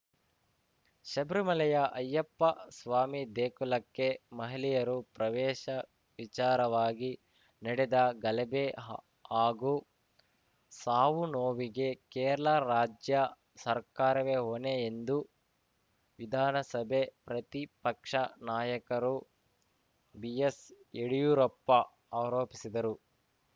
ಶಬರಿಮಲೆಯ ಅಯ್ಯಪ್ಪ ಸ್ವಾಮಿ ದೇಗುಲಕ್ಕೆ ಮಹಿಳೆಯರು ಪ್ರವೇಶ ವಿಚಾರವಾಗಿ ನಡೆದ ಗಲಭೆ ಹಾಗೂ ಸಾವುನೋವಿಗೆ ಕೇರಳ ರಾಜ್ಯ ಸರ್ಕಾರವೇ ಹೊಣೆ ಎಂದು ವಿಧಾನಸಭೆ ಪ್ರತಿಪಕ್ಷ ನಾಯಕರು ಬಿಎಸ್‌ ಯಡ್ಯೂರಪ್ಪ ಆರೋಪಿಸಿದರು